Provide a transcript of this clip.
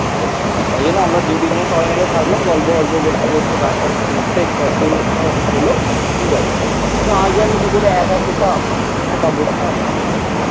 তাই জন্য আমরা দু তিনজন সবাই মিলে থাকলাম. গল্প করতে করতে গান ফান শুনতে শুনতে. একটু আধটু তাও হলো. ঠিক আছে এতো আগে আমি কি করে একা খেতাম একা বসতাম কি জানি?